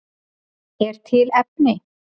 Er til efni?